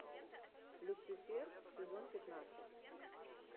люцифер сезон пятнадцать